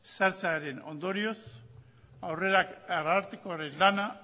sartzearen ondorioz arartekoaren lana